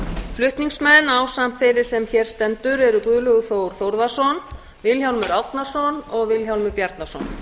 flutningsmenn ásamt þeirri sem hér stendur eru háttvirtir þingmenn guðlaugur þór þórðarson vilhjálmur árnason og vilhjálmur bjarnason